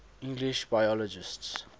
english biologists